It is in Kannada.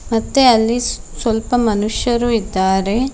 ಮತ್ತೆ ಅಲ್ಲಿ ಸ್ ಸ್ವಲ್ಪ ಮನುಷ್ಯರು ಇದ್ದಾರೆ.